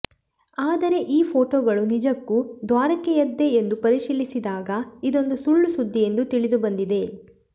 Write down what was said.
ಆದರೆ ಈ ಫೋಟೋಗಳು ನಿಜಕ್ಕೂ ದ್ವಾರಕೆಯದ್ದೇ ಎಂದು ಪರಿಶೀಲಿಸಿದಾಗ ಇದೊಂದು ಸುಳ್ಳು ಸುದ್ದಿ ಎಂದು ತಿಳಿದುಬಂದಿದೆ